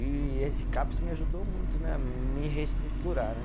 E esse Caps me ajudou muito né, a me reestruturar, né?